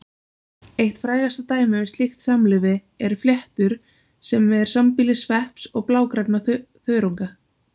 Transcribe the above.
Eitt frægasta dæmið um slíkt samlífi eru fléttur sem er sambýli svepps og blágrænna þörunga.